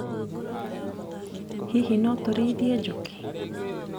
Hihi no tũrĩithie njũkĩ.